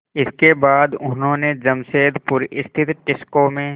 इसके बाद उन्होंने जमशेदपुर स्थित टिस्को में